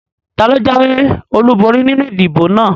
Taló jáwé ọlúborí nínu ìdìbò náà?